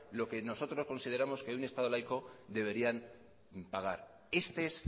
lo que nosotros consideramos que en un estado laico deberían pagar este es